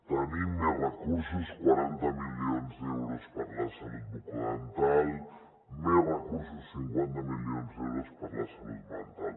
tenim més recursos quaranta milions d’euros per a la salut bucodental més recursos cinquanta milions d’euros per a la salut mental